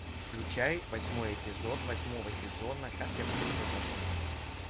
включай восьмой эпизод восьмого сезона как я встретил вашу маму